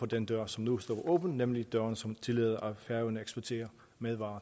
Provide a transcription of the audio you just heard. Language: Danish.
den dør som nu står åben nemlig den dør som tillader at færøerne eksporterer madvarer